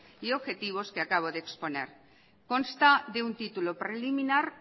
y objetivos que acabo de exponer consta de un título preliminar